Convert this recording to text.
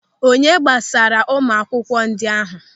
Onye gbasaara ụmụ akwụkwọ ndị ahụ.